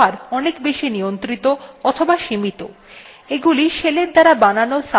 এগুলি শেলের দ্বারা বানানো subshellগুলিতে প্রাপ্তিসাধ্য হয় না